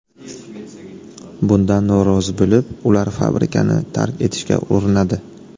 Bundan norozi bo‘lib, ular fabrikani tark etishga urinadi.